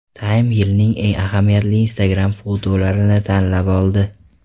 Time yilning eng ahamiyatli Instagram-fotolarini tanlab oldi .